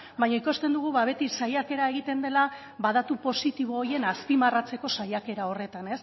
baina ikusten dugu beti saiakera egiten dela datu positibo horien azpimarratzeko saiakera horretan